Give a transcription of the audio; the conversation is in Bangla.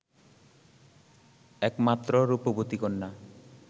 একমাত্র রূপবতী কন্যা